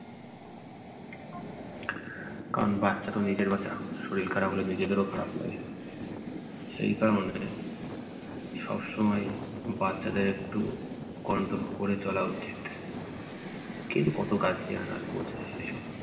কারণ বাচ্চা তো নিজের বাচ্চা, শরীর খারাপ হলে নিজেদেরও খারাপ লাগে। সেই কারণে সবসময়ই বাচ্চাদের একটু control করে চলা উচিত। কে কত করছে সে সব